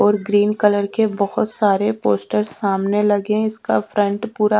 और green colour के बहोत सारे पोस्टर सामने लगे है इसका फ्रंट पूरा--